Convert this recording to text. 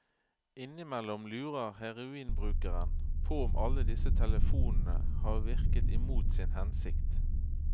Innimellom lurer heroinbrukeren på om alle disse telefonene har virket imot sin hensikt.